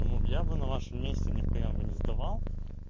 думал я бы на вашем месте у нихуя бы не сдавал